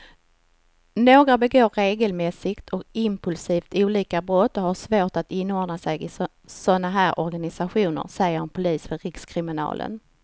Några begår regelmässigt och impulsivt olika brott och har svårt att inordna sig i såna här organisationer, säger en polis vid rikskriminalen.